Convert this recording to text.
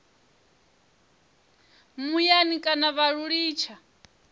muyani kana vha lu litsha